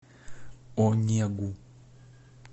онегу